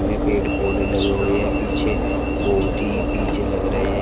ये पेड़ पौधे लगे हुए है पीछे बहोत ही पीछे लग रहे--